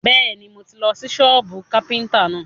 Bẹ́ẹ̀ni, mo tì lọ sí sọ́bù káfíntà náà.